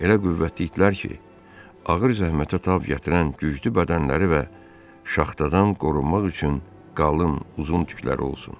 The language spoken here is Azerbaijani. Elə qüvvətli itlər ki, ağır zəhmətə tab gətirən güclü bədənləri və şaxtadan qorunmaq üçün qalın, uzun tüklər olsun.